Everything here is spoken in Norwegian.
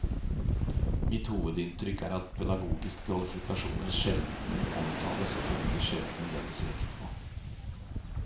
Mitt hovedinntrykk er at pedagogiske kvalifikasjoner sjelden omtales, og følgelig sjelden legges vekt på.